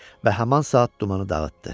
Və həman saat dumanı dağıtdı.